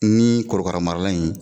Ni korokaramarala in